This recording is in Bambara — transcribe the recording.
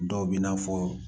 Dɔw bi na fɔ